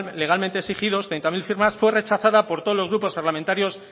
legalmente exigidos treinta mil firmas fue rechazada por todos los grupos parlamentarios